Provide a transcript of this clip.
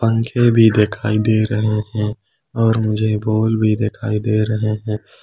पंखे भी दिखाई दे रहे हैं और मुझे बोल भी दिखाई दे रहे हैं।